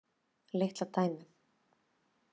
Litla dæmið.